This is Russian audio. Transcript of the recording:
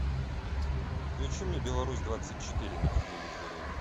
включи мне беларусь двадцать четыре на телевизоре